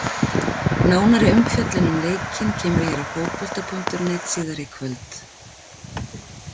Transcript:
Nánari umfjöllun um leikinn kemur hér á Fótbolta.net síðar í kvöld.